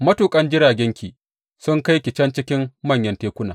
Matuƙan jiragenki sun kai ki can cikin manyan tekuna.